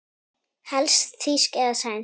Helst þýsk eða sænsk.